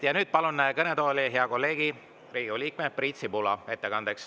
Ja nüüd palun ettekandeks kõnetooli hea kolleegi, Riigikogu liikme Priit Sibula.